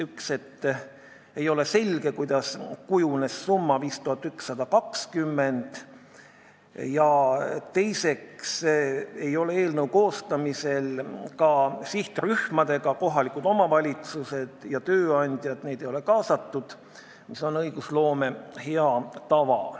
Üks oli see, et ei ole selge, kuidas kujunes summa 5120, ja teiseks ei ole eelnõu koostamisel kaasatud sihtrühmi, kohalikke omavalitsusi ja tööandjaid, kuigi see on õigusloome hea tava.